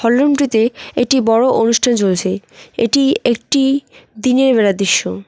হল রুমটিতে এটি বড় অনুষ্ঠান চলছে এটি একটি দিনের বেলার দৃশ্য।